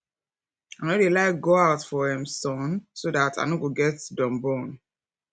i no dey like to go out for um sun so dat i no go get dun burn